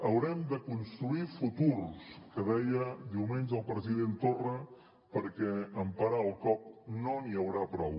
haurem de construir futurs que deia diumenge el president torra perquè amb parar el cop no n’hi haurà prou